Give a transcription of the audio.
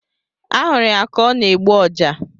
A hụrụ ya ka ọ na-egbu Ọja